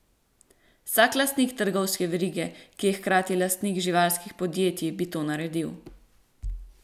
Vsak lastnik trgovske verige, ki je hkrati lastnik živilskih podjetij, bi to naredil.